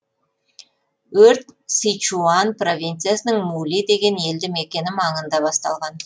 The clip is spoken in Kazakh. өрт сычуань провинциясының мули деген елді мекені маңында басталған